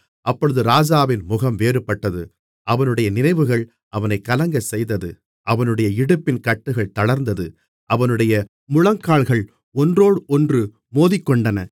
அப்பொழுது ராஜாவின் முகம் வேறுபட்டது அவனுடைய நினைவுகள் அவனைக் கலங்கச்செய்தது அவனுடைய இடுப்பின் கட்டுகள் தளர்ந்தது அவனுடைய முழங்கால்கள் ஒன்றோடொன்று மோதிக்கொண்டன